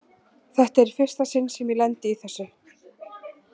Þetta er í fyrsta sinn sem ég lendi í þessu.